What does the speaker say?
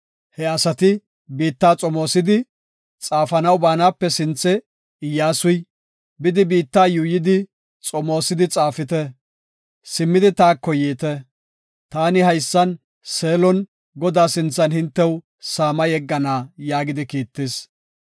He asati biitta xomoosidi, xaafanaw baanape sinthe, Iyyasuy, “Bidi biitta yuuyidi xomoosidi xaafite; simmidi taako yiite. Taani haysan, Seelon, Godaa sinthan hintew saama yeggana” yaagidi kiittis.